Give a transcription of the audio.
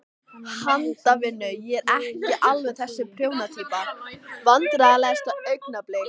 Handavinnu, ég er ekki alveg þessi prjóna týpa Vandræðalegasta augnablik?